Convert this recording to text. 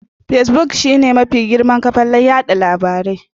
Fesbuk shine mafi girman kafan yada labarai.